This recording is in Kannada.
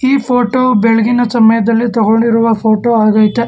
ಈ ಫೋಟೋ ಬೆಳಗಿನ ಸಮಯದಲ್ಲಿ ತಗೊಂಡಿರುವ ಫೋಟೋ ಆಗೈತೆ.